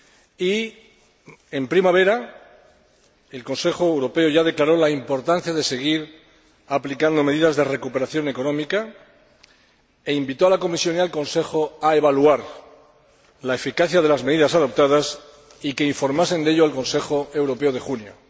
Y en primavera, el Consejo Europeo ya declaró la importancia de seguir aplicando medidas de recuperación económica y pidió a la Comisión y al Consejo que evaluaran la eficacia de las medidas adoptadas y que informasen de ello al Consejo Europeo de junio.